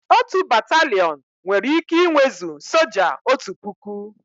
Otu Batalịọn nwere ike inwezu soja otu puku